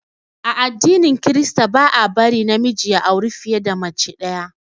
A addinin krista ba a bari na miji ya auri fiye da mace ɗaya